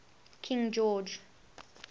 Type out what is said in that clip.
king george